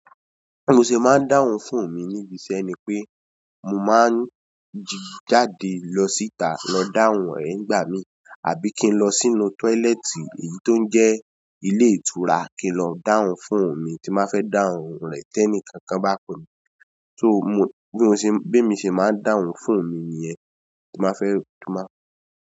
Bí mo ṣe máa ń dáhùn fóòun mi níbi iṣẹ́ ni pé mo máa ń jáde lọ síta lọ dáhùn rẹ̀ nígbà mi. Àbí kí n lọ sínú tọ́ílẹ́ẹ̀tì èyí tó ń jẹ́ ilé ìtura kí n lọ dáhùn fóòun mi tí bá fẹ́ dáhùn rẹ̀ tẹ́nìkankan bá pọ̀ mí. So mo bí mo ṣe, bí mo ṣe máa ń dáhùn fòóún mi niyẹn tí má fẹ́ tima.